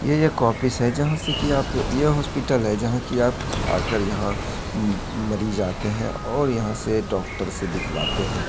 यह एक ऑफिस है जहाँ से कि आप यह हॉस्पिटल है जहाँ कि आप आकर यहाँ म-म-मरीज आते हैं और यहाँ से डॉक्टर से दिखवाते हैं।